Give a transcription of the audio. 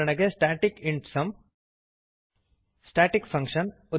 static int sum static function ಉದಾ